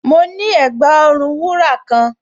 Mo ní ẹ̀gbà-ọrùn wúrà kan